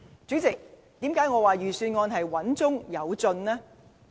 主席，為何我說預算案穩中有進呢？